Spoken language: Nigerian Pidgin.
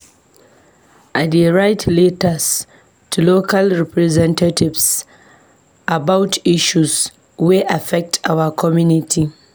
I dey write letters to local representatives about issues wey affect our community.